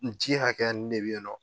N ji hakɛya nin de bi yen nɔ.